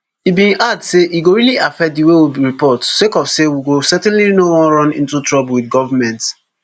e bin add say e go really affect di way we report sake of say we go certainly no wan run into trouble wit govment